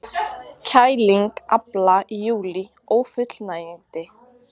Kæling afla í júlí ófullnægjandi